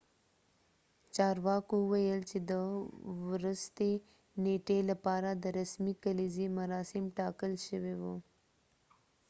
چارواکو وويل چې د ورستۍ نیټې لپاره د رسمي کليزې مراسم ټاکل شوي وو